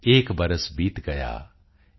ਏਕ ਬਰਸ ਬੀਤ ਗਯਾ